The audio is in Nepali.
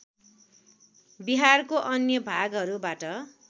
बिहारको अन्य भागहरूबाट